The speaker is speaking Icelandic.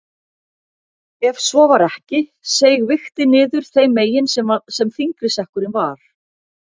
Ef svo var ekki seig vigtin niður þeim megin sem þyngri sekkurinn var.